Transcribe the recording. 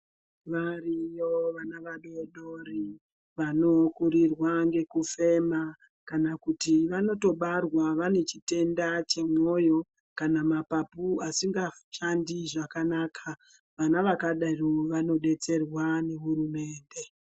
Variyo vana vadodori vanokurirwa ngekufema kana kuti vanotobarwa vane chitenda chemwoyo kana kuti mapapu asingashandi zvakanaka vana vakadaro vanodetserwa ngehurumende.